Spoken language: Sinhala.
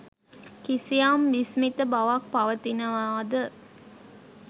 කිසියම් විස්මිත බවක් පවතිනවාද?